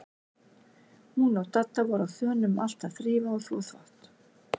Hún og Dadda voru á þönum um allt að þrífa og þvo þvott.